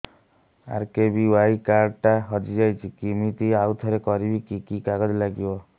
RKBY card ଟା ହଜିଯାଇଛି କିମିତି ଆଉଥରେ କରିବି କି କି କାଗଜ ଲାଗିବ